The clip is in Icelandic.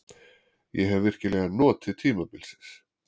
Ég hef virkilega notið tímabilsins.